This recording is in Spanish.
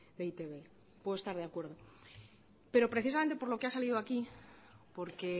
de e i te be puedo estar de acuerdo pero precisamente por lo que ha salido aquí porque